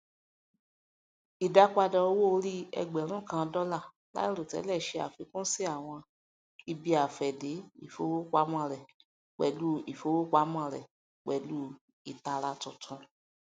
ìdápadà owóòrí ẹgbẹrún kan dólà láìròtẹlẹ ṣe àfikún sí àwọn ibiafẹde ifowopamọ rẹ pẹlú ifowopamọ rẹ pẹlú ìtara tuntun